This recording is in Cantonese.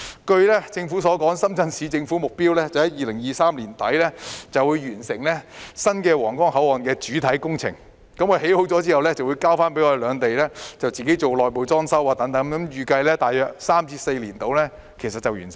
據政府所說，深圳市政府目標在2023年年底完成新皇崗口岸的主體工程，完工後便會交由兩地自行進行內部裝修，預計大約3至4年便會完成。